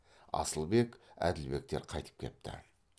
асылбек әділбектер қайтып кепті